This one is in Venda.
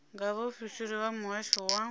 nga vhaofisiri vha muhasho wa